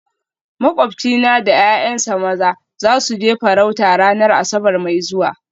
Makwabcina da ’ya’yansa maza za su je farauta ranar Asabar mai zuwa